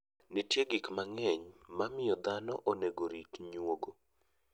Nitie gik mang'eny momiyo dhano onego orit nyuogo.